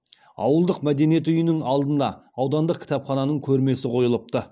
ауылдық мәдениет үйінің алдына аудандық кітапхананың көрмесі қойылыпты